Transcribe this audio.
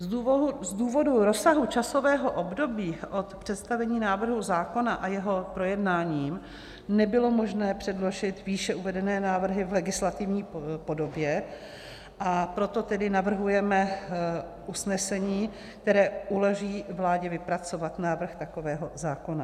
Z důvodu rozsahu časového období od představení návrhu zákona a jeho projednáním nebylo možné předložit výše uvedené návrhy v legislativní podobě, a proto tedy navrhujeme usnesení, které uleví vládě vypracovat návrh takového zákona.